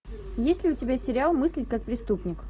есть ли у тебя сериал мыслить как преступник